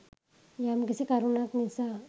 යම්කිසි කරුණක් නිසා